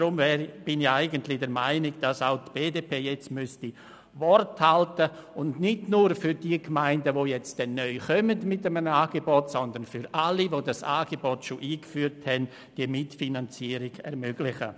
Ich bin deswegen der Meinung, dass die BDP jetzt Wort halten muss und sich nicht nur für Gemeinden einsetzen sollte, die mit einem neuen Angebot hinzukommen, sondern für alle, die das Angebot bereits eingeführt haben, um ihnen diese Mitfinanzierung zu ermöglichen.